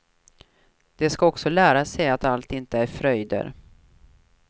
De ska också lära sig att allt inte är fröjder.